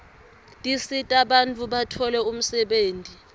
tisita bantfu batfole umsebenti